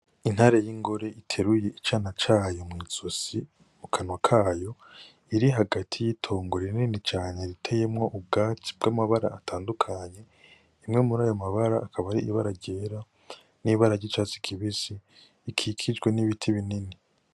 Intare y'ingore iteruye icane cayo mw'izosi mukanwa kayo, iri hagati y'itongo rinini cane riteyemwo ubwatsi bw'amabara atandukanye. Rimwe muri ayo mabara akaba ari ibara ryera, n'ibara ry'icatsi kibisi, ikikijwe n'ibiti binini.